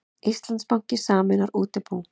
Íslandsbanki sameinar útibú